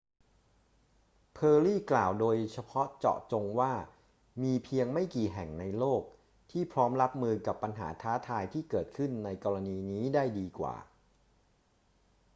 เพอร์รี่กล่าวโดยเฉพาะเจาะจงว่า มีเพียงไม่กี่แห่งในโลกที่พร้อมรับมือกับปัญหาท้าทายที่เกิดขึ้นในกรณีนี้ได้ดีกว่า